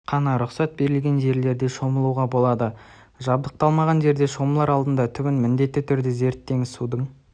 қана рұқсат берілген жерлерде шомылуға болады жабдықталмаған жерде шомылар алдында түбін міндетті түрде зерттеңіз судың